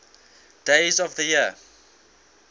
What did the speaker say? days of the year